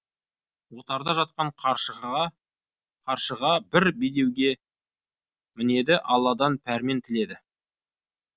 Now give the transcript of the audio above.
отарда жатқан қаршыға бір бедеуге мінеді алладан пәрмен тіледі